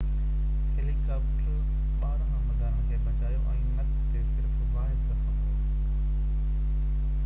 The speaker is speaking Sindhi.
هيليڪاپٽرن ٻارنهن عملدارن کي بچايو ۽ نڪ تي صرف واحد زخم هو